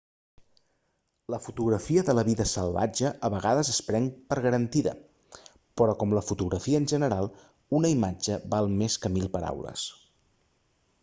la fotografia de la vida salvatge a vegades es pren per garantida però com la fotografia en general una imatge val més que mil paraules